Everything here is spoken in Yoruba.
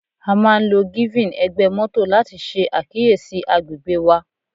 A máà ń lo giving egbe moto láti ṣe àkíyèsí agbègbè wa.